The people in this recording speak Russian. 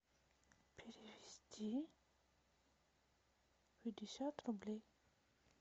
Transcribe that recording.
перевести пятьдесят рублей